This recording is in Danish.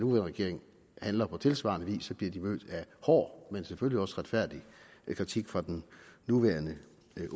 regering handler på tilsvarende vis bliver den mødt af hård men selvfølgelig også retfærdig kritik fra den nuværende